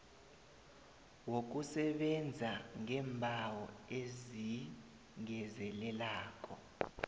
wokusebenza ngeembawo ezingezelelako